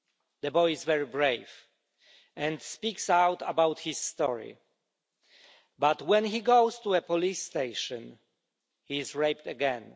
The boy is very brave and speaks out about his story, but when he goes to a police station, he is raped again.